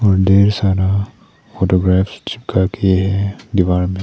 ढेर सारा फोटोग्राफ चिपका के दीवार मे।